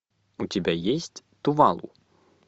у тебя есть тувалу